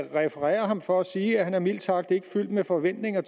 refererer ham for at sige at han mildt sagt ikke er fyldt med forventninger